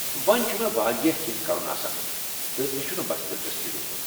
وونۍ ، چھُ مےٚ واریاہ کٮ۪نٛہہ کرُن آسان تہٕ مےٚ چھِنہٕ بس دلچسپی روٗزمٕژ ۔